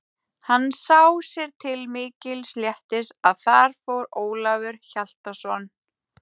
Hann sá sér til mikils léttis að þar fór Ólafur Hjaltason.